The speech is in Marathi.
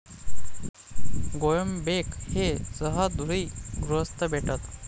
गोळंबेक हे सहृदयी गृहस्थ भेटत.